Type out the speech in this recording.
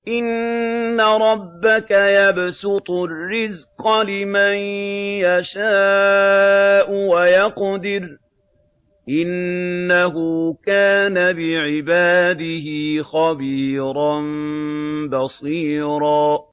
إِنَّ رَبَّكَ يَبْسُطُ الرِّزْقَ لِمَن يَشَاءُ وَيَقْدِرُ ۚ إِنَّهُ كَانَ بِعِبَادِهِ خَبِيرًا بَصِيرًا